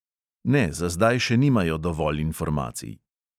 Ne, za zdaj še nimajo dovolj informacij.